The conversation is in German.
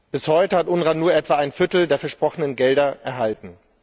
Bis heute hat UNRWA nur etwa ein Viertel der versprochenen Gelder erhalten.